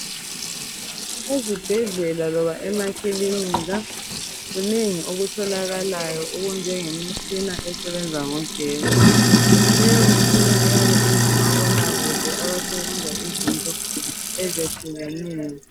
Ezibhedlela loba emakilinika, kunengi okutholakalayo okunjengemishina esebenzisa ugesi. Leyo mitshina iyab' ingomabonakude abasebenza izinto eyehlukeneyo.